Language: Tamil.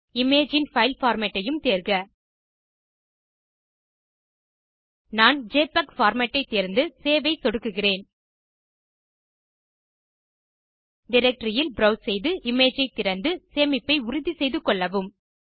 இமேஜ் இன் பைல் பார்மேட் ஐயும் தேர்க நான் ஜெபிஇஜி பார்மேட் ஐ தேர்ந்து சேவ் ஐ சொடுக்குகிறேன் டைரக்டரி இல் ப்ரோவ்ஸ் செய்து இமேஜ் ஐ திறந்து சேமிப்பை உறுதி செய்து கொள்ளவும்